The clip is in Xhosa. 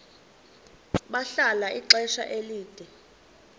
bahlala ixesha elide